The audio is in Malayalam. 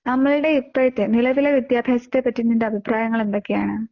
നമ്മുടെ ഇപ്പോഴത്തെ നിലവിലെ വിദ്യാഭ്യാസത്തെ പറ്റി നിന്റെ അഭിപ്രായങ്ങൾ എന്തൊക്കെയാണ്?